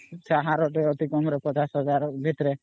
ହାର ଟେ ଅତି କମ ରେ fifty thousands ଭିତରେ